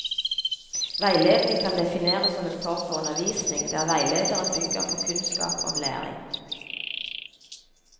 Veiledning kan defineres som en form for undervisning, der veilederen bygger på kunnskap om læring.